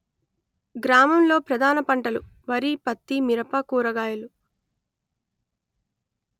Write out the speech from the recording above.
గ్రామంలో ప్రధాన పంటలు వరి పత్తి మిరప కూరగాయలు